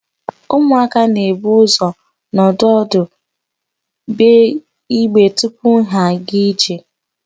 Ụmụaka na-ebu ụzọ nọdụ ọdụ, gbee igbe tupu ha aga ije.